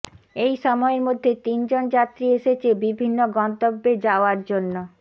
এই সময়ের মধ্যে তিনজন যাত্রী এসেছে বিভিন্ন গন্তব্যে যাওয়ার জন্য